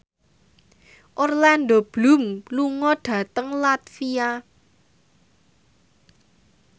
Orlando Bloom lunga dhateng latvia